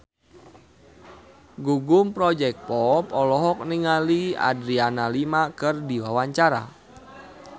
Gugum Project Pop olohok ningali Adriana Lima keur diwawancara